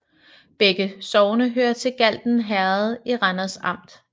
Begge sogne hørte til Galten Herred i Randers Amt